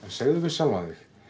segðu við sjálfan þig